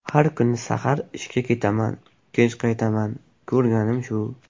Har kuni sahar ishga ketaman, kech qaytaman, ko‘rganim shu!